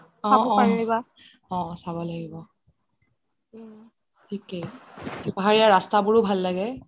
অহ অহ চাব লাগিব থিকেই পাহাৰিয়া ৰাস্তাবোৰও ভাল লাগে